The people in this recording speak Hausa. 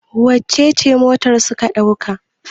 wacece motar suka dauka?